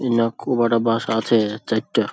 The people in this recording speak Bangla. খুব একটা বাস আছে চাইরটা।